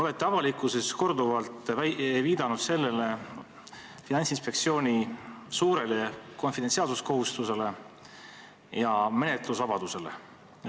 Olete avalikkuses korduvalt viidanud Finantsinspektsiooni suurele konfidentsiaalsuskohustusele ja menetlusvabadusele.